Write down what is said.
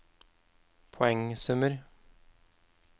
poengsummer